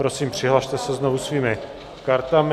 Prosím, přihlaste se znovu svými kartami.